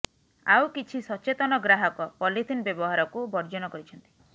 ଆଉ କିଛି ସଚେତନ ଗ୍ରାହକ ପଲିଥିନ ବ୍ୟବହାରକୁ ବର୍ଜନ କରିଛନ୍ତି